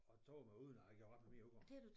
At tabe mig uden at jeg gjorde ret meget ved det udover